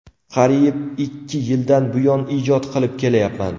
Qariyib ikki yildan buyon ijod qilib kelayapman.